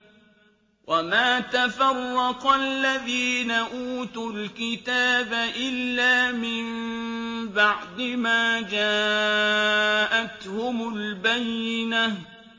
وَمَا تَفَرَّقَ الَّذِينَ أُوتُوا الْكِتَابَ إِلَّا مِن بَعْدِ مَا جَاءَتْهُمُ الْبَيِّنَةُ